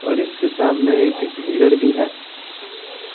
और इसके सामने एक मिरर भी है।